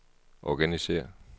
organisér